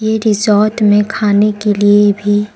ये रिसोर्ट में खाने के लिए भी--